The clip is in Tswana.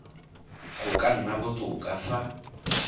go ka nna botoka fa